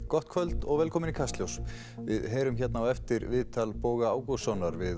gott kvöld og velkomin í Kastljós við heyrum hérna á eftir viðtal Boga Ágústssonar við